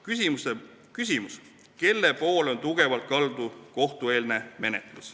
Küsimus: kelle poole on kohtueelne menetlus tugevalt kaldu?